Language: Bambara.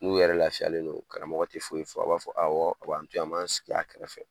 N'u yɛrɛ lafiyalen don karamɔgɔ te foyi fɔ. A b'a fɔ awɔ, a b'an to ye, an m'an sigi a kɛrɛfɛ.